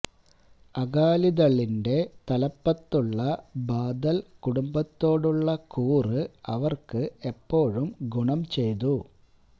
അകാലിദളിന്റെ തലപ്പത്തുള്ള ബാദൽ കുടുംബത്തോടുള്ള കൂറ് അവർക്ക് എപ്പോഴും ഗുണം ചെയ്തു